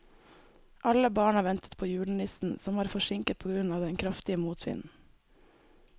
Alle barna ventet på julenissen, som var forsinket på grunn av den kraftige motvinden.